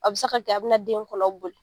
A bɛ se ka kɛ a bɛna den kɔnɔ boli